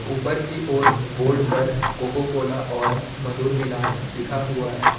ऊपर की ओर बोर्ड पर कोको कोला और मधुर मिलन लिखा हुआ है।